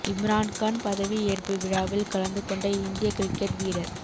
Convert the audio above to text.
இம்ரான் கான் பதவி ஏற்பு விழாவில் கலந்து கொண்ட இந்திய கிரிக்கெட் வீரர்